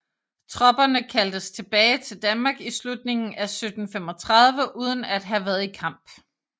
Tropperne kaldtes tilbage til Danmark i slutningen af 1735 uden at have været i kamp